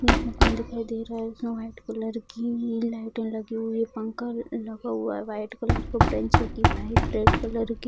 एक मकान दिखाई दे रहा है जिसमे वाइट कलर की लाइटे लगी हुई है पंखा भी लगा हुआ है वाइट कलर का बेंच वाइट रेड कलर की।